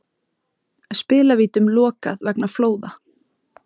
Spilavítum lokað vegna flóða